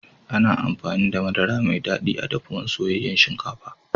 Ana amfani da Madara Mai dadi a'dafuwan soyayen shinkafa.